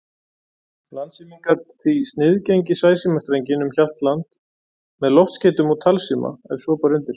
Landsíminn gat því sniðgengið sæsímastrenginn um Hjaltland með loftskeytum og talsíma, ef svo bar undir.